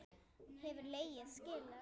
Hefur leiga skilað sér?